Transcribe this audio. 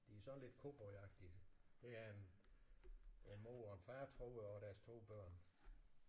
De sådan lidt cowboyagtige. Det er en en mor og en far tror jeg og deres 2 børn